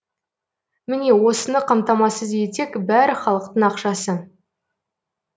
міне осыны қамтамасыз етсек бәрі халықтың ақшасы